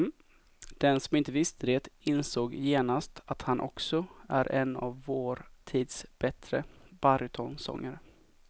Den som inte visste det insåg genast att han också är en av vår tids bättre barytonsångare.